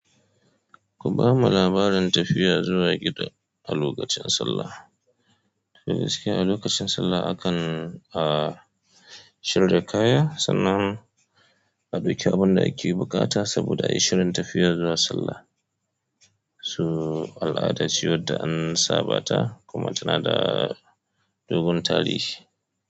Ku ba mu labarin tafiya zuwa gida a lokacin sallah. To gaskiya a lokacin sallah akan, ah, shirya kaya sannan a ɗauke abin da ake buƙata saboda a yi shirin tafiya zuwa sallah. Su al'ada ce wadda an sabata kuma tana da dogon tarihi.